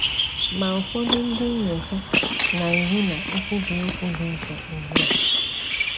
Ma ụfọdụ ndị nnyocha na - eru ná nkwubi okwu dị iche ugbu a.